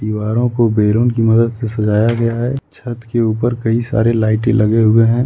दीवारों को बैलून की मदद से सजाया गया है छत के ऊपर कई सारे लाइटे लगे हुए हैं।